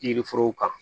Yiri forow kan